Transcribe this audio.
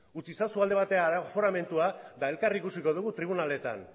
utz ezazu alde batera aforamentua eta elkar ikusiko dugu tribunaletan